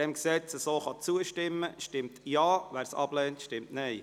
Schlussabstimmung (1. und einzige Lesung)